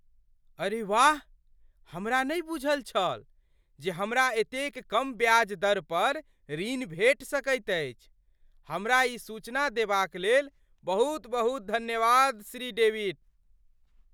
अरे वाह! हमरा नहि बूझल छल जे हमरा एतेक कम ब्याज दर पर ऋण भेटि सकैत अछि। हमरा ई सूचना देबाक लेल बहुत बहुत धन्यवाद श्री डेविड।